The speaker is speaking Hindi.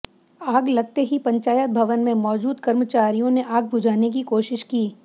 आग लगते ही पंचायत भवन में मौदूज कर्मचारियों ने आग बुझाने की कोशिश की